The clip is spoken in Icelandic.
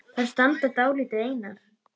Þær standa dálítið einar.